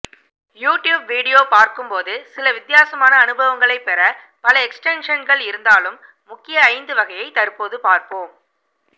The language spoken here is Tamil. யூடியூப் வீடியோ பார்க்கும்போது சில வித்தியாசமான அனுபவங்களை பெற பல எக்ஸ்டென்ஷன்கள் இருந்தாலும் முக்கிய ஐந்து வகையை தற்போது பார்ப்போம்